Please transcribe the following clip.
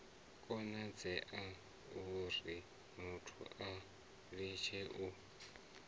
konadzea urimuthu a litshe u